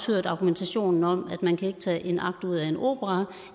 hørt argumentationen om at man ikke kan tage en akt ud af en opera